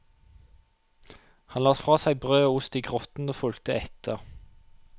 Han la fra seg brød og ost i grotten og fulgte etter.